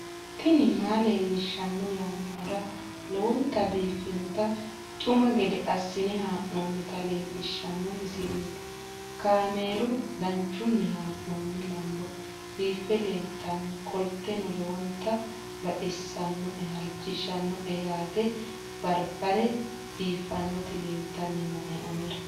tini maa leelishshanno yaannohura lowonta biiffanota misile xuma gede assine haa'noonnita leellishshanno misileeti kaameru danchunni haa'noonni lamboe biiffe leeeltannoqolten lowonta baxissannoe halchishshanno yaate barbare biiffannoti leeltanni nooe anera